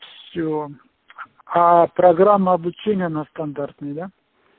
с сео а программа обучения она стандартная да